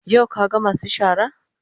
Yau ka ga masu shara?